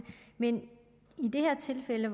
men i det her tilfælde